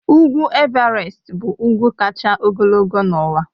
Ugwu Everest bụ ugwu kacha ogologo n'ụwa